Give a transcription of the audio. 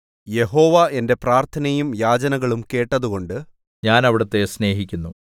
യഹോവ എന്റെ പ്രാർത്ഥനയും യാചനകളും കേട്ടതുകൊണ്ട് ഞാൻ അവിടുത്തെ സ്നേഹിക്കുന്നു